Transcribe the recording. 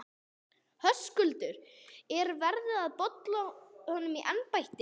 Höskuldur: Er verið að bola honum úr embætti?